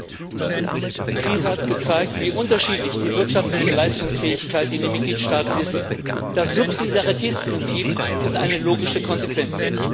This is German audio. Herr Präsident! Die Krise hat gezeigt, wie unterschiedlich die wirtschaftliche Leistungsfähigkeit in den Mitgliedstaaten ist. Das Subsidiaritätsprinzip ist eine logische Konsequenz.